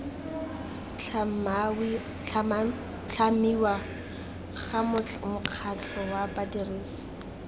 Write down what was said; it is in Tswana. tlhamiwa ga mokgatlho wa badirisi